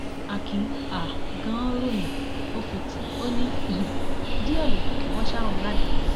akin um ganan ròyìn ó fi tí ò ní um díẹ ló kù kí wọn ṣa òun ládàá